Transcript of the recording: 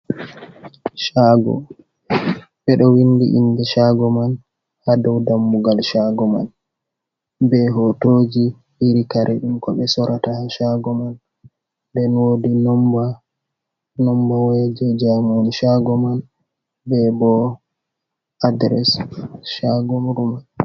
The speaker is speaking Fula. Shago bedo windi inde shago man ha dou dammugal shago man ,be hotoji iri kare dum ko be sorata ha shago man den wodi nomba waya je joumu shago man be bo adres shago ruman.